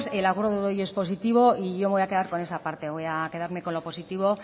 el acuerdo de hoy es positivo y yo me voy a quedar con esa parte voy a quedarme con lo positivo